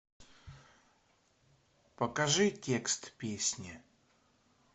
покажи текст песни